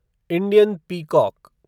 Indian peacock